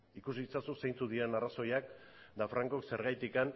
ikusi ditzakezu zeintzuk diren arrazoiak eta francok zergatik